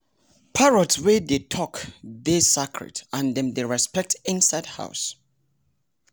parrot wey dey talk dey sacred and dem dey respected inside house